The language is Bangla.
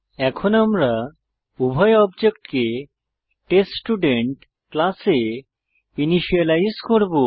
এখন আমরা উভয় অবজেক্টকে টেস্টস্টুডেন্ট ক্লাসে ইনিসিয়েলাইজ করব